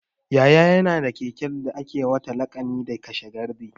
Yaya na ya na da keken da ake wa laƙani da 'kashe gardi'